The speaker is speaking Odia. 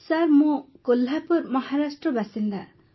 ସାର୍ ମୁଁ କୋହ୍ଲାପୁର ମହାରାଷ୍ଟ୍ର ବାସିନ୍ଦା